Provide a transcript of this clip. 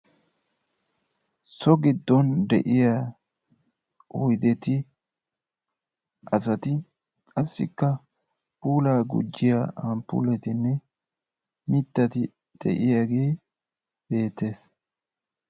So giddon de'iyaa oydeti, asati qassika pulaa gujiiyaa amppuletinne mittati de'iyaage beettes.